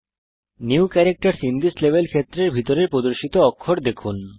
new ক্যারাক্টারসহ in this level ক্ষেত্রের ভিতরে প্রদর্শিত নতুন অক্ষর দেখুন